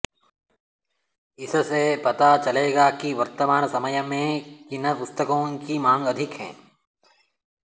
इससे पता चलेगा कि वर्तमान समय में किन पुस्तकों की मांग अधिक है